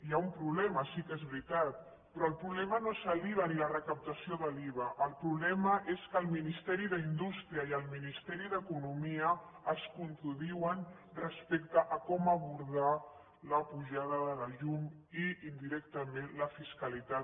hi ha un problema sí que és veritat però el problema no és l’iva ni la recaptació de l’iva el problema és que el ministeri d’indústria i el ministeri d’economia es contradiuen respecte a com abordar la pujada de la llum i indirectament la seva fiscalitat